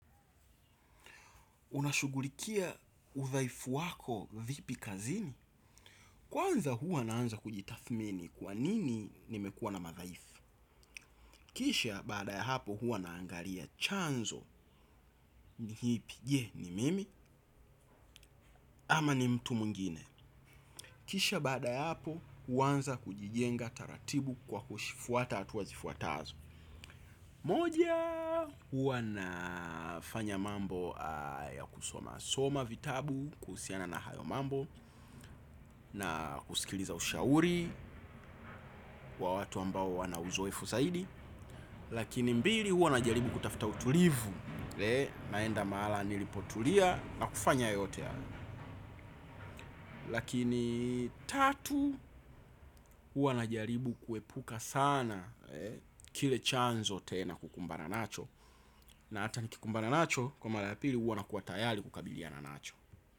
Unashughulikia udhaifu wako vipi kazini? Kwanza huwa naanza kujitathmini kwanini nimekuwa na madhaifu? Kisha baada ya hapo huwa naangalia chanzo ni kipi je ni mimi ama ni mtu mwingine. Kisha baada ya hapo huanza kujijenga taratibu kwa kuzifuata hatua zifuatazo. Moja huwa nafanya mambo ya kusoma soma vitabu kuhusiana na hayo mambo na kusikiliza ushauri wa watu ambao wana uzoefu zaidi. Lakini mbili huwa najaribu kutafuta utulivu naenda mahala nilipotulia na kufanya yote. Lakini tatu huwa najaribu kuepuka sana kile chanzo tena kukumbana nacho. Na hata nikikumbana nacho kwa mara ya pili huwa nakuwa tayari kukabilia na nacho.